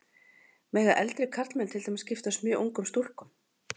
Mega eldri karlmenn til dæmis giftast mjög ungum stúlkum?